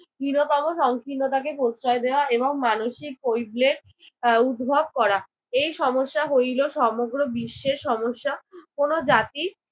“হীনতম সংকীর্ণতাকে প্রশ্রয় দেওয়া এবং মানসিক কৈবল্যের আহ উদ্ভব করা।” এই সমস্যা হইল সমগ্র বিশ্বের সমস্যা। কোন জাতির